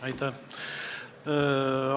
Aitäh!